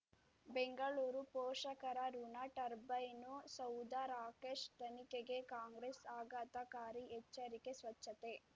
ಬೆಂಗಳೂರು ಪೋಷಕರಋಣ ಟರ್ಬೈನು ಸೌಧ ರಾಕೇಶ್ ತನಿಖೆಗೆ ಕಾಂಗ್ರೆಸ್ ಆಘಾತಕಾರಿ ಎಚ್ಚರಿಕೆ ಸ್ವಚ್ಛತೆ